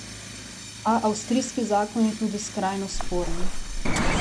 A avstrijski zakon je tudi skrajno sporen.